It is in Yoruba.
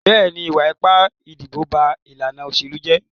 Bẹ́ẹ̀ni, ìwà ipá ìdìbò ba ìlànà òṣèlú jẹ́.